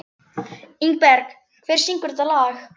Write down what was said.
Ingberg, hver syngur þetta lag?